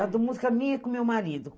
A música minha é com o meu marido.